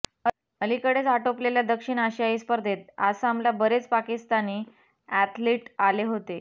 अलीकडेच आटोपलेल्या दक्षिण आशियाई स्पर्धेत आसामला बरेच पाकिस्तानी अॅथलीट आले होते